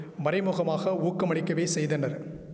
மறைமுகமாக ஊக்கமளிக்கவே செய்தனர்